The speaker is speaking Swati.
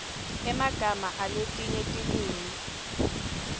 emagama aletinye tilwimi